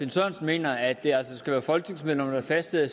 finn sørensen mener at det altså skal være folketingsmedlemmerne der fastsætter